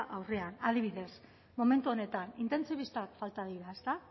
aurrean adibidez momentu honetan intentsibistak falta dira ezta